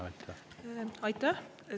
Aitäh!